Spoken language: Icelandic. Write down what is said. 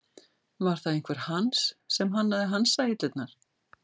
Var það einhver Hans sem hannaði hansahillurnar?